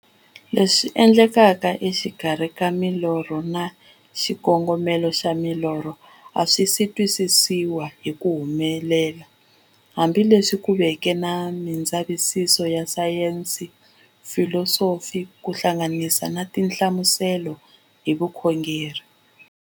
Leswi endlekaka exikarhi ka milorho na xikongomelo xa milorho a swisi twisisiwa hi ku helela, hambi leswi ku veke na mindzavisiso ya sayensi, filosofi ku hlanganisa na tinhlamuselo hi vukhongori.